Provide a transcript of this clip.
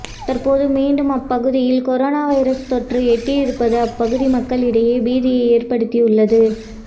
தற்போது மீண்டும் அப்ப குதியில் கொரோனா வைரஸ் தொற்று ஏற்பட்டிருப்பது அப்பகுதி மக்களிடையே பீதியை ஏற்படுத்தியுள்ளது